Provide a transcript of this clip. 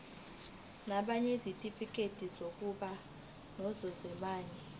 nabanezitifikedi zokuba ngososayense